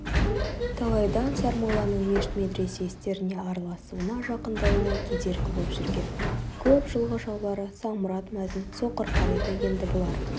талайдан сармолланың мешіт-медресе істеріне араласуына жақындауына кедергі боп жүрген көп жылғы жаулары самұрат мәзін соқыр қариды енді бұлар